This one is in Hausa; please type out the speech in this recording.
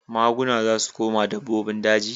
Maguna za su koma dabbobin daji.